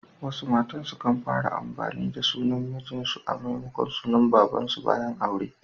Wasu matan sukan fara amfani da sunan mijin su a maimakon na baban su bayan aure.